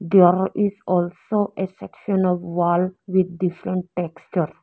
There is also a section of wall with different texture.